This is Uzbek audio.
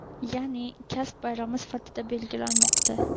yaʼni kasb bayrami sifatida belgilanmoqda.